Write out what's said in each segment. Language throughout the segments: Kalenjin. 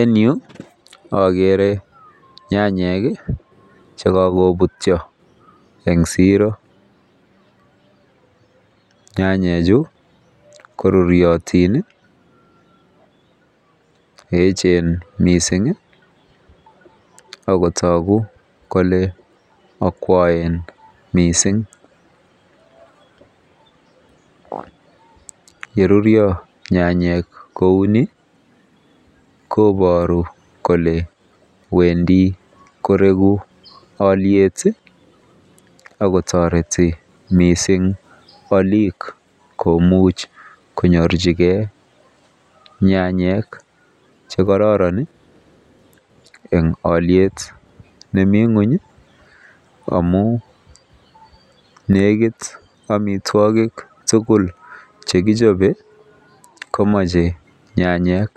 En yu akere nyayek chekakobutyo eng siro. Nyanyechu ko ruryotin, echen mising akotogu kole akwoen mising. Yeruryo nyanyek kouni, koboru kole wendi koreku alyet akotoreti mising alik komuch konyorchigei nyanyek chekororon eng alyet nemi nguny amu nekit amitwokik tugul chekichope komeche nyanyek.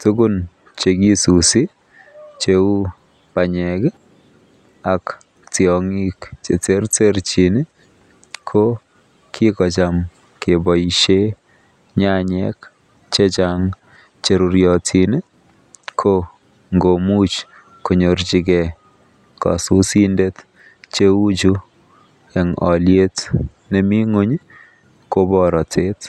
Tukun chekisusi cheu banyek ak tiong'ik cheterterchin ko kikocham keboishe nyanyek chechang cheruryotin ko ngomuch konyorchigei kasusindet cheuchu eng alyet nemi ng'uny ko porotet.